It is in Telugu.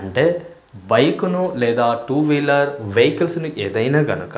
అంటే బైక్ ను లేదా టూవీలర్ వెహికల్స్ ను ఏదైనా గనక--